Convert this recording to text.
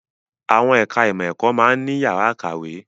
Àwọn ẹ̀ka ìmọ̀ ẹ̀kọ́ máa ń ní yàrá ìkàwé